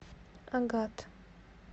агат